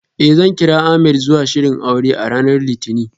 Eh, zan kira Ahmed zuwa shirin aure a ranar litinin.